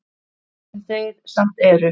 Sem þeir samt eru.